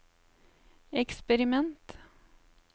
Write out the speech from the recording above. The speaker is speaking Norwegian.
eksperiment